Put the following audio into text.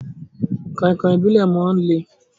Kọ̀inkọ̀in Ìbílẹ̀ máa ń le.